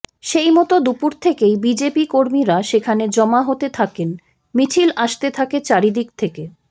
সেই মতো দুপুর থেকেই বিজেপি কর্মীরা সেখানে জমা হতে থাকেন মিছিল আসতে থাকে চারিদিক থেকে